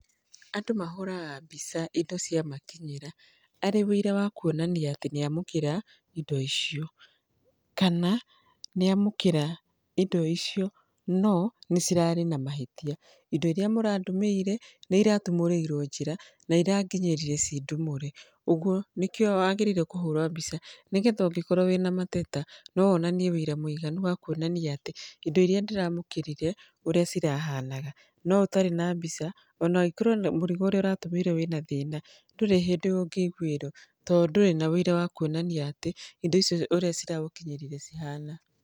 Andũ mahũraga mbica indo ciamakinyĩra arĩ ũira wa kuonania atĩ nĩ amũkĩra indo icio. Kana nĩ amũkĩra indo icio no nĩ cirarĩ na mahĩtia. Indo irĩa mũrandũmĩire nĩ iratumũrĩirwo njĩra na ĩranginyĩrire ciĩ ndumũre. Ũguo nĩkĩo wagĩrĩire kũhũra mbica nĩgetha ũngĩkorwo wĩna mateta no wonanie ũira mũtheru wa kuonania atĩ indo irĩa ndĩramũkĩrire ũrĩa cirahanaga. No ũtarĩ na mbica ona ũngĩkorwo mũrigo ũrĩa ũrantũmĩirwo wĩna thĩna, ndũrĩ hĩndĩ ũngĩiguĩrwo tondũ ndũrĩ na ũira wa kuonania atĩ indo icio ũrĩa ciragũkinyĩrĩire cihana.